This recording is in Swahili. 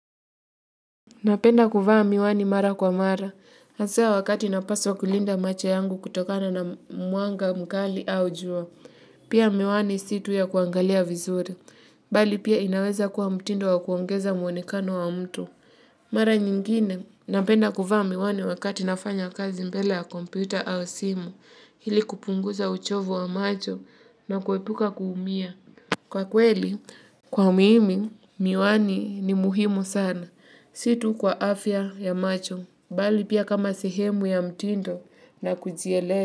Napenda kuvaa miwani mara kwa mara. Hasa wakati napaswa kulinda macho yangu kutokana na mwanga mkali au jua. Pia, miwani si tu ya kuangalia vizuri. Bali pia inaweza kuwa mtindo wa kuongeza muonekano wa mtu. Mara nyingine. Napenda kuvaa miwani wakati nafanya kazi mbele ya kompyuta au simu. Ili kupunguza uchovu wa macho na kuepuka kuumia. Kwa kweli, kwa mimi, miwani ni muhimu sana. Si tu kwa afya ya macho, bali pia kama sehemu ya mtindo na kujiele.